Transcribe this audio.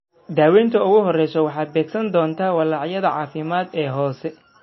Daawaynta ugu horreysa waxay beegsan doontaa walaacyadan caafimaad ee hoose.